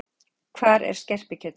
Hvar er skerpikjötið?